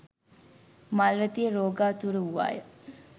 මල්වතිය රෝගාතුර වූවාය